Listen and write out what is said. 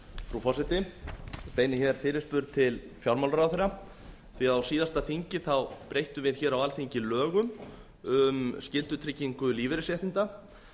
frú forseti ég beini fyrirspurn til fjármálaráðherra því á síðasta þingi breyttum við á alþingi lögum um skyldutryggingu lífeyrisréttinda